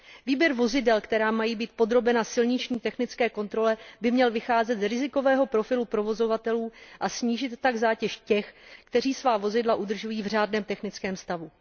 Výběr vozidel, která mají být podrobena silniční technické kontrole, by měl vycházet z rizikového profilu provozovatelů, a snížit tak zátěž těch, kteří svá vozidla udržují v řádném technickém stavu.